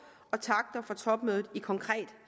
og takter fra topmødet i konkret